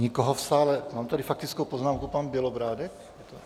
Nikoho v sále - mám tady faktickou poznámku, pan Bělobrádek?